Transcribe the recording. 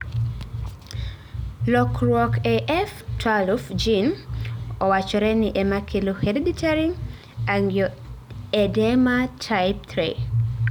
lokruok e F12 gene owachoreni emakelo hereditary angioedema type III.